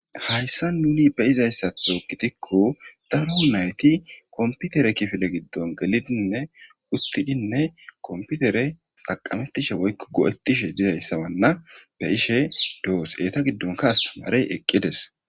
hayssa nuni be'izayssatho gidikko daro nayti komputere kifile giddon gelidinne uttidinne komputere xaqamettishe woykko go7ettishe dizayssa wanna be ishe do7os eeta giddonka astimarey eqqides